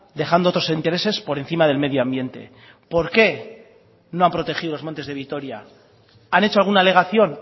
dejando otros intereses por encima del medio ambiente por qué no han protegido los montes de vitoria han hecho alguna alegación